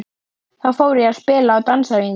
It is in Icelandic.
Þá fór ég að spila á dansæfingum.